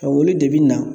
Ka wuli de bi na